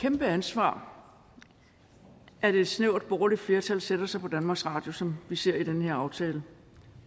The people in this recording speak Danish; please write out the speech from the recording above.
kæmpe ansvar at et snævert borgerligt flertal sætter sig på danmarks radio som vi ser det i den her aftale